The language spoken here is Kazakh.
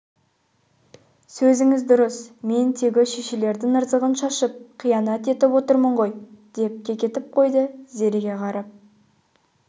сөзіңіз дұрыс мен тегі шешелердің ырзығын шашып қиянат етіп отырмын ғой деп кекетіп қойды зереге қарап